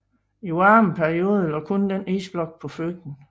I varme perioder lå kun denne isblok på Fyn